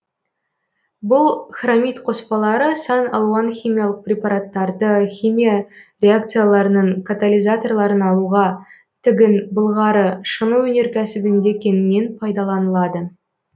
бұл хромит қоспалары сан алуан химиялық препараттарды химия реакцияларының катализаторларын алуға тігін былғары шыны өнеркәсібінде кеңінен пайдаланылады